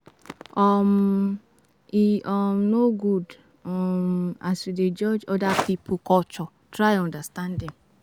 um E um no good um as you dey judge oda pipo culture, try understand dem.